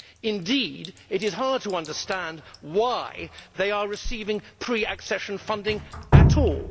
Indeed, it is hard to understand why they are receiving pre accession funding at all.